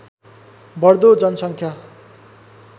बढ्दो जनसङ्ख्या